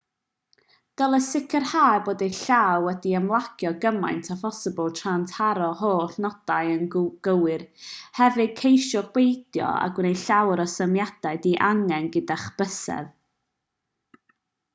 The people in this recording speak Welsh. dylech sicrhau bod eich llaw wedi ymlacio cymaint â phosibl tra'n taro'r holl nodau yn gywir hefyd ceisiwch beidio â gwneud llawer o symudiadau di-angen gyda'ch bysedd